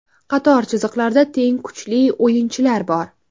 Qator chiziqlarda teng kuchli o‘yinchilar bor.